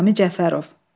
Nizami Cəfərov.